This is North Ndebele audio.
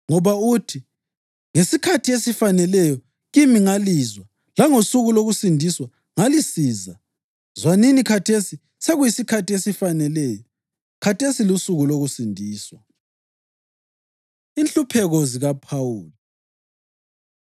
Ngoba uthi: “Ngesikhathi esifaneleyo kimi ngalizwa, langosuku lokusindiswa ngalisiza.” + 6.2 U-Isaya 49.8 Zwanini, khathesi sekuyisikhathi esifaneleyo, khathesi lusuku lokusindiswa. Inhlupheko ZikaPhawuli